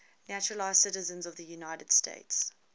naturalized citizens of the united states